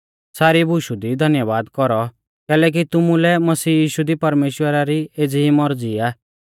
सारी बुशु दी धन्यबाद कौरौ कैलैकि तुमुलै मसीह यीशु दी परमेश्‍वरा री एज़ी ई मौरज़ी आ